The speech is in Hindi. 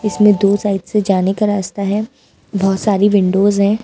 इसमें दो साइड से जाने का रास्ता है बहुत सारी विंडोज हैं।